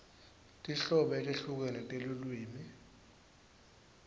tinhlobo letehlukene telulwimi